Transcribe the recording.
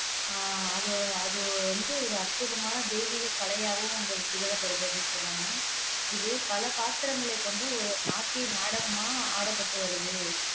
ஆஹ் அது ஒரு அது வந்து ஒரு அற்புதமான தெய்வீக கலையாகவும் அங்க திகழப்படுகிறது அப்படின்னு சொல்றாங்க இது பல பாத்திரங்களை கொண்ட ஒரு நாட்டிய நாடகமா ஆடப்பட்டு வருது